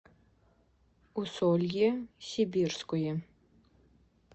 усолье сибирское